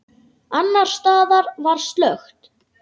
Annars staðar var slökkt.